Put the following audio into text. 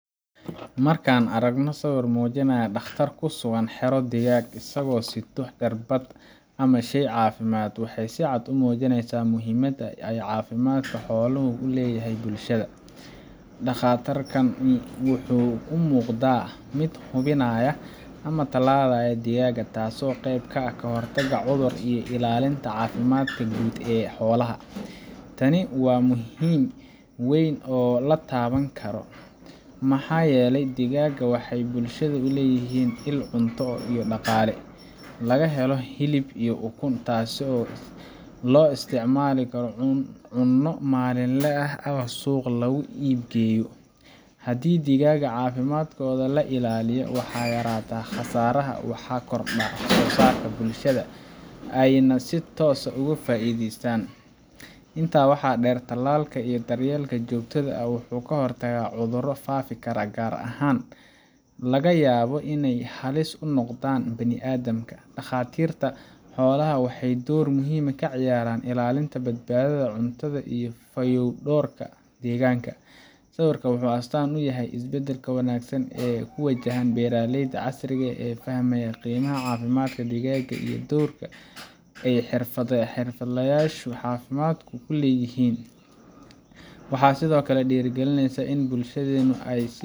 Marka aan aragno sawirkan oo muujinaya dhakhtar ku sugan xero digaag, isagoo sito irbad ama shay caafimaad, waxay si cad u muujinaysaa muhiimadda ay caafimaadka xoolaha u leeyahay bulshada. Dhakhtarkani wuxuu u muuqdaa mid hubinaya ama tallaalaya digaagga, taasoo qayb ka ah ka hortagga cudurrada iyo ilaalinta caafimaadka guud ee xoolaha. Tani waa muhiimad weyn oo la taaban karo, maxaa yeelay digaagga waxay bulshada u yihiin il cunto iyo dhaqaale laga helo hilib iyo ukun, taasoo loo isticmaalo cunno maalinle ah ama suuq lagu iib geeyo. Haddii digaagga caafimaadkooda la ilaaliyo, waxaa yaraada khasaaraha, waxaa korodho wax-soo-saarka, bulshada ayaana si toos ah uga faa’iideysa. Intaa waxaa dheer, tallaalka iyo daryeelka joogtada ah wuxuu ka hortagaa cudurro faafi kara, qaarna laga yaabo inay halis u noqdaan bini’aadamka. Dhakhaatiirta xoolaha waxay door muhiim ah ka ciyaaraan ilaalinta badbaadada cuntada iyo fayodhowrka deegaanka. Sawirkan wuxuu astaan u yahay isbeddel wanaagsan oo ku wajahan beeralayda casriga ah ee fahmay qiimaha caafimaadka digaagga iyo doorka ay xirfadlayaasha caafimaadku ku leeyihiin. Waxay sidoo kale dhiirrigelinaysaa in bulshadeenu ay